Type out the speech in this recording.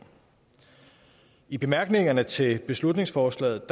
i bemærkningerne til beslutningsforslaget